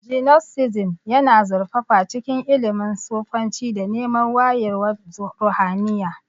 Gnosticism yana zurfafa cikin ilimin sufanci da neman wayewar ruhaniya.